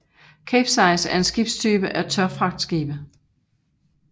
Capesize er en skibstype af tørfragtskibe